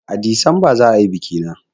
A Disamba za a yi biki na